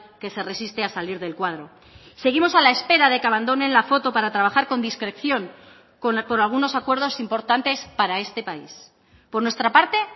que se resiste a salir del cuadro seguimos a la espera de que abandonen la foto para trabajar con discreción por algunos acuerdos importantes para este país por nuestra parte